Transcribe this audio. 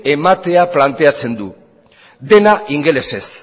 ematea planteatzen du dena ingelesez